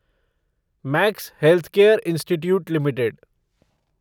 max Healthcare Institute limited